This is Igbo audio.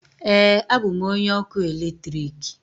Ee, abụ m onye ọkụ eletrik.